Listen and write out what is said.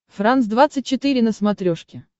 франс двадцать четыре на смотрешке